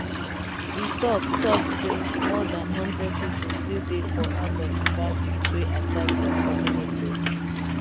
e tok tok say more dan one hundred pipo still dey for hand of di bandits wey attack dia communities